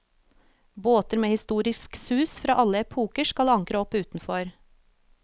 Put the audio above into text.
Båter med historisk sus fra alle epoker skal ankre opp utenfor.